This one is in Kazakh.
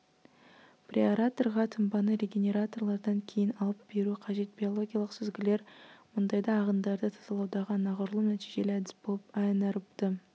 преаэраторға тұнбаны регенераторлардан кейін алып беру қажет биологиялық сүзгілер мұндайда ағындарды тазалаудағы анағұрлым нәтижелі әдіс болып анаэробты